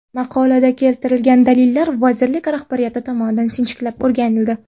Maqolada keltirilgan dalillar vazirlik rahbariyati tomonidan sinchiklab o‘rganildi.